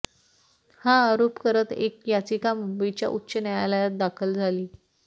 हा आरोप करत एक याचिका मुंबईच्या उच्च न्यायालयात दाखल झाली